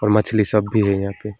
मछली सब भी है यहां पे।